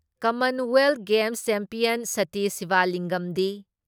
Commonwealth games champion Satish ꯁꯤꯕꯂꯤꯡꯒꯝꯗꯤ